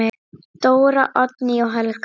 Dóra, Oddný og Helga.